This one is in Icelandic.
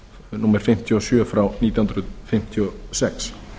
númer fimmtíu og sjö nítján hundruð fimmtíu og sex